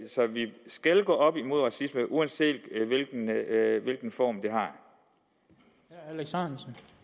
skal gå op imod racisme uanset hvilken form den har